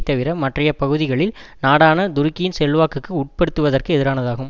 தவிர மற்றைய பகுதிகளில் நாடான துருக்கியின் செல்வாக்குக்கு உட்படுத்துவதற்கு எதிரானதாகும்